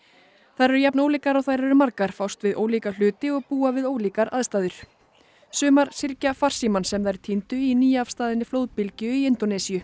þær eru jafn ólíkar og þær eru margar fást við ólíka hluti og búa við ólíkar aðstæður sumar syrgja farsímann sem þær týndu í nýafstaðinni flóðbylgju í Indónesíu